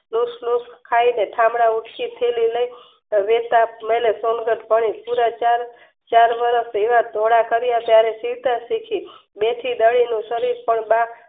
ખાયને ઠામડાં ઊટકી ને થેલી લઈને મને સંકટ કરી ચારે ફેરા ફર્યા બે થી સમય પણ બા